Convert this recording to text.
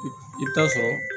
I bɛ taa sɔrɔ